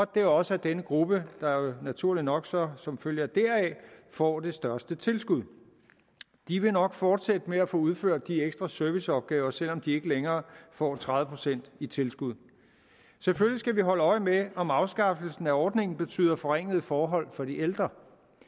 det også er denne gruppe der naturligt nok så som følge deraf får det største tilskud de vil nok fortsætte med at få udført de ekstra serviceopgaver selv om de ikke længere får tredive procent i tilskud selvfølgelig skal vi holde øje med om afskaffelsen af ordningen betyder forringede forhold for de ældre